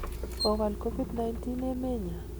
Kowal Covid 19 emenyon.